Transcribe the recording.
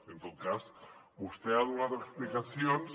i en tot cas vostè ha donat explicacions